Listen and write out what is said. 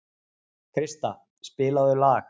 Krista, spilaðu lag.